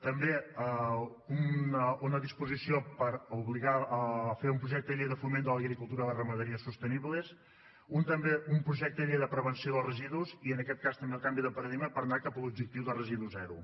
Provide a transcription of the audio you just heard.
també una disposició per obligar a fer un projecte de llei de foment de l’agricultura i la ramaderia sostenibles també un projecte de llei de prevenció dels residus i en aquest cas també el canvi de paradigma per a anar cap a l’objectiu de residu zero